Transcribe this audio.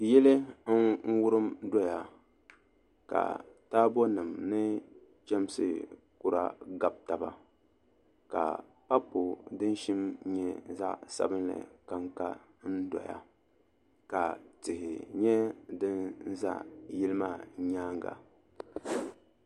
Yili n wurim doya ka taabo nim ni chɛmsi kura gabi taba ka papu din shim nyɛ zaɣ sabinli kanka n doya ka tihi nyɛ din ʒɛ yili maa nyaanga